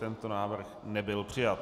Tento návrh nebyl přijat.